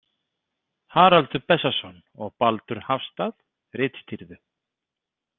Haraldur Bessason og Baldur Hafstað ritstýrðu.